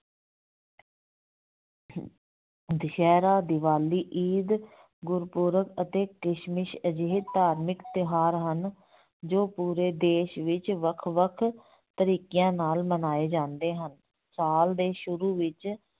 ਦੁਸਹਿਰਾ, ਦੀਵਾਲੀ, ਈਦ ਗੁਰਪੁਰਬ ਅਤੇ ਕ੍ਰਿਸ਼ਮਸ ਅਜਿਹੇ ਧਾਰਮਿਕ ਤਿਉਹਾਰ ਹਨ ਜੋ ਪੂਰੇ ਦੇਸ ਵਿੱਚ ਵੱਖ ਵੱਖ ਤਰੀਕਿਆਂ ਨਾਲ ਮਨਾਏ ਜਾਂਦੇ ਹਨ, ਸਾਲ ਦੇ ਸ਼ੁਰੂ ਵਿੱਚ